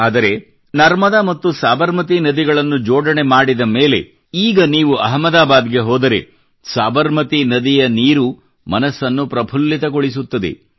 ಆದರೆ ನರ್ಮದಾ ಮತ್ತು ಸಬರಮತಿ ನದಿಗಳನ್ನು ಜೋಡಣೆ ಮಾಡಿದ ಮೇಲೆ ಈಗ ನೀವು ಅಹಮದಾಬಾದ್ ಗೆ ಹೋದರೆ ಸಬರಮತಿ ನದಿಯ ನೀರು ಮನಸ್ಸನ್ನು ಪ್ರಫುಲ್ಲಿತಗೊಳಿಸುತ್ತದೆ